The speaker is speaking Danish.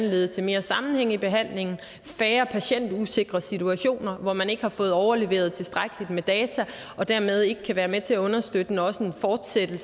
lede til mere sammenhæng i behandlingen færre patientusikre situationer hvor man ikke har fået overleveret tilstrækkeligt med data og dermed ikke kan være med til understøtte og fortsætte